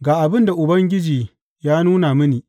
Ga abin da ya nuna mini.